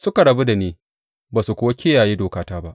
Suka rabu da ni, ba su kuwa kiyaye dokata ba.